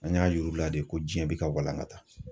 An y'a yir'u la de diɲɛ bi ka walangata.